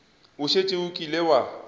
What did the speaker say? o šetše o kile wa